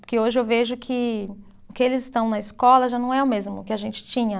Porque hoje eu vejo que o que eles estão na escola já não é o mesmo que a gente tinha.